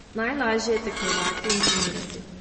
Najlažje je tekmovati in trenirati.